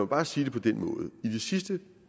bare sige det på den måde i de sidste